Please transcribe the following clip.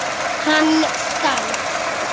Hann skalf.